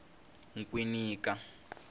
nkwinika